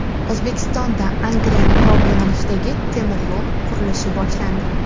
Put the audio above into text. O‘zbekistonda Angren-Pop yo‘nalishidagi temir yo‘l qurilishi boshlandi.